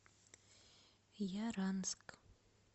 яранск